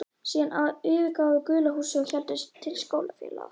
Síðan yfirgáfum við gula húsið og héldum til skólafélaga okkar.